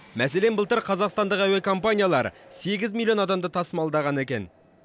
мәселен былтыр қазақстандық әуекомпаниялар сегіз миллион адамды тасымалдаған екен